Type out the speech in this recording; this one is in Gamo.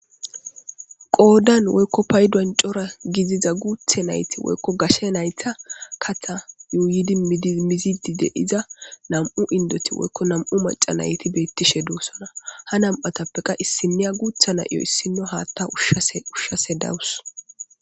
qoodan woykko paydon cora gidiza guuthe nayti woykko gashe naytha katha yuuydi mizidide iza nam7u indoti woykko nam7u macca nayti beettishe duussona ha nam7atappeqa issiniya guutha na7 iyo issino haathtja ushashe dawus.